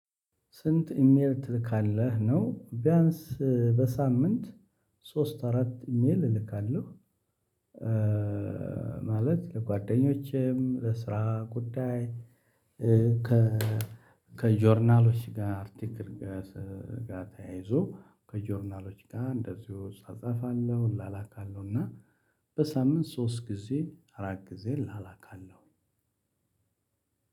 ስንት ኢሜል ትልካለህ ነው ቢያንስ በሳምንት ሶስት አራት ኢሜል እልካለሁ፤። ማለት ለጓደኞቼም ለስራ ጉዳይ ከ ከጆርናሎች ጋር አርቲክት ጋር ተያይዞ ከጆርናሎች ጋር እንደዚሁ እጻጻፋለሁ እላላካለሁና በሳምንት ሶስት ጊዜ አራት ጊዜ ላላካለሁ።